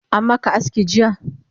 Ammaka aski jiya?